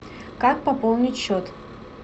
как пополнить счет